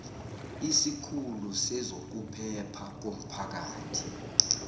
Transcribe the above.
esikhulu sezokuphepha komphakathi